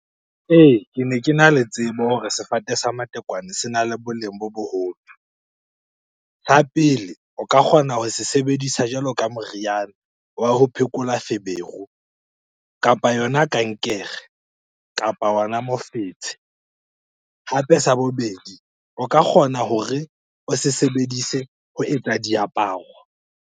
Ee, kene kena le tsebo hore sefate sa matekwane sena le boleng bo boholo. pele, o ka kgona hore se sebedisa jwalo ka moriana wa ho phekola feberu, kapa yona kankere kapa ona mofetshe. Hape sa bobedi, o ka kgona hore o se sebedise ho etsa diaparo.